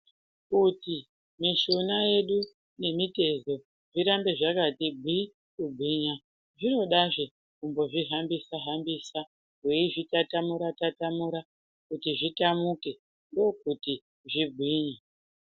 Kuti mishuna yedu nemitezo zvirambe zvakati gwii kugwinya, zvinodazve kumbozvihambisa hambisa weizvitatamura tatamura kuti zvitamuke ndokuti zvigwinye.